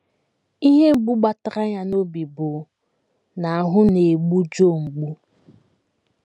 Ihe mbụ gbatara ya n’obi bụ na ahụ́ na - egbu Joe mgbu.